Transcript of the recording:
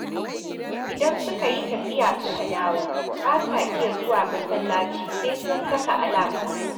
Idan suka yi tafiya, suka dawo, ba sa iya zuwa masallaci sai sun saka alam